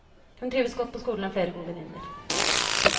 Hun trives godt på skolen og har flere gode venninner.